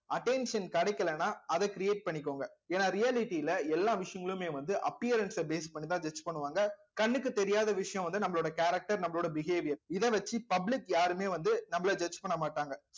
attention கிடைக்கலைன்னா அதை create பண்ணிக்கோங்க ஏன்னா reality ல எல்லா விஷயங்களுமே வந்து appearance அ base பண்ணிதான் judge பண்ணுவாங்க கண்ணுக்கு தெரியாத விஷயம் வந்து நம்மளோட character நம்மளோட behaviour இதை வச்சு public யாருமே வந்து நம்மளை judge பண்ண மாட்டாங்க